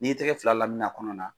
N'i ye tɛgɛ fila lamini a kɔnɔ na